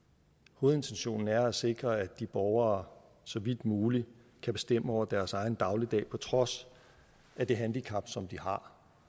hovedintentionen er at sikre at de borgere så vidt muligt kan bestemme over deres egen dagligdag på trods af det handicap som de har